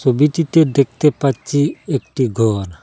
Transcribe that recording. ছবিটিতে দেখতে পাচ্ছি একটি ঘর।